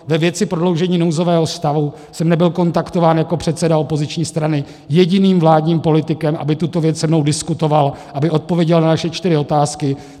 Ve věci prodloužení nouzového stavu jsem nebyl kontaktován jako předseda opoziční strany jediným vládním politikem, aby tuto věc se mnou diskutoval, aby odpověděl na naše čtyři otázky.